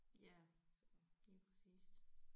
Ja lige præcist